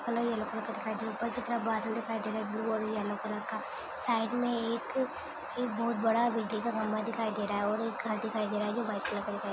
अलग अलग ऊपर बादल दिखाई दे रहा है ब्लू और येलो कलर का साइड में एक बहुत बड़ा बिजली का खंबा दिखाई दे रहा है और एक घर दिखाई दे रहा है जो की वाइट कलर का है।